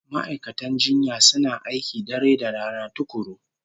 Ma'aikatan jinya suna aiki dare da rana tukuru